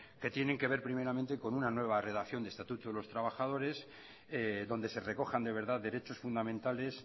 que tienen que ver primeramente con una nueva redacción del estatuto de los trabajadores donde se recojan de verdad derechos fundamentales